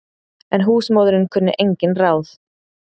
En húsmóðirin kunni engin ráð.